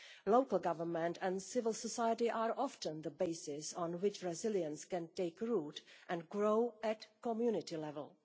Local government and civil society are often the basis on which resilience can take root and grow at community level.